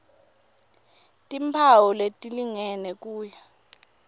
timphawu letilingene kuya